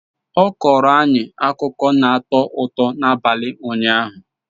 Ọ kọọrọ anyị akụkọ na-atọ ụtọ n'abalị ụnyaahụ